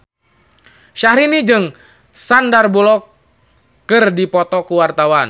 Syahrini jeung Sandar Bullock keur dipoto ku wartawan